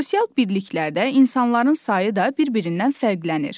Sosial birliklərdə insanların sayı da bir-birindən fərqlənir.